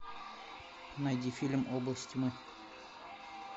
найди фильм область тьмы